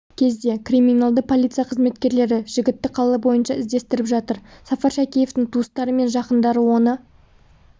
кезде криминалды полиция қызметкерлері жігітті қала бойынша іздестіріп жатыр сафар шәкеевтің туыстары мен жақындары оны